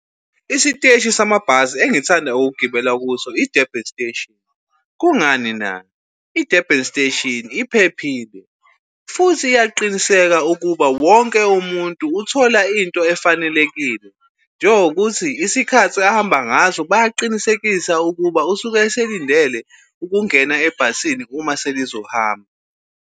Isiteshi samabhasi engithanda ukugibela kuso i-Durban Station, Kungani na? I-Durban Station iphephile futhi iyaqiniseka ukuba wonke umuntu uthola into efanelekile. Njengokuthi isikhathi ahamba ngaso bayaqinisekisa ukuba usuke eselindele ukungena ebhasini uma senizohamba.